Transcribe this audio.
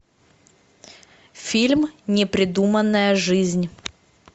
фильм непридуманная жизнь